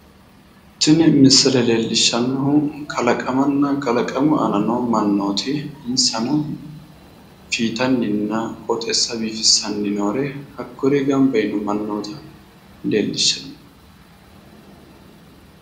tini misile leellishshannohu kalaqamanna kalaqamu aana noo mannooti insano fiitanninna qooxeessa biifissanni noore hakkuri ganba yiino mannoota leellishshanno.